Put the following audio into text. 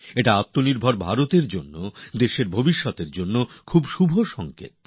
এটা আত্মনির্ভর ভারতের জন্য দেশের জন্য খুবই শুভ সংকেত